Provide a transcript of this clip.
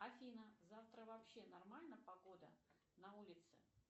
афина завтра вообще нормально погода на улице